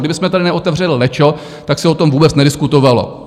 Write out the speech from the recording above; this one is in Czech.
Kdybychom tady neotevřeli lečo, tak se o tom vůbec nediskutovalo.